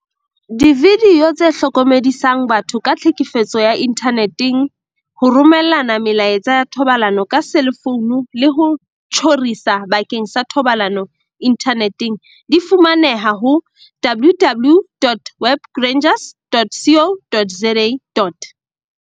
Dividio tse hlokomedisang batho ka tlhekefetso ya inthane teng, ho romellana melaetsa ya thobalano ka selefouno le ho tjhorisa bakeng sa thobalano inthaneteng, di fumaneha ho www.webrangers.co.za.